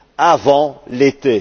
avant l'été.